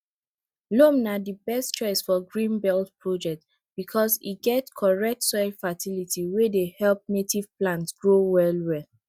loam na di best choice for green belt projects because e get correct soil fertility wey help native plants grow well well